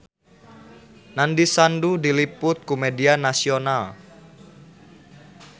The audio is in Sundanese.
Nandish Sandhu diliput ku media nasional